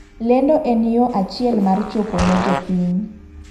Lendo en yoo achiel mar chopo ne jopiny .